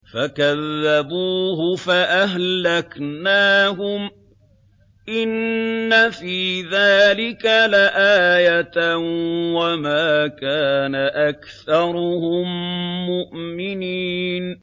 فَكَذَّبُوهُ فَأَهْلَكْنَاهُمْ ۗ إِنَّ فِي ذَٰلِكَ لَآيَةً ۖ وَمَا كَانَ أَكْثَرُهُم مُّؤْمِنِينَ